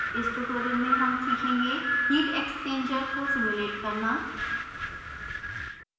इस tutorial में हम सीखेंगे: heat exchanger को simulate करना